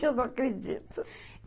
Eu não acredito.